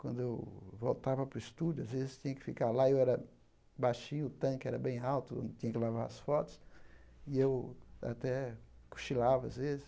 Quando eu voltava para o estúdio, às vezes tinha que ficar lá, e eu era baixinho, o tanque era bem alto, eu tinha que lavar as fotos, e eu até cochilava às vezes.